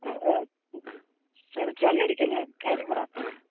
ആ ചളി അടിക്കല്ലേ കാര്യം പറ